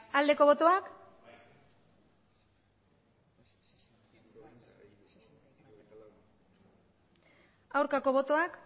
aldeko botoak aurkako botoak